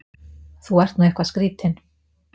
Þú ert nú eitthvað skrýtinn!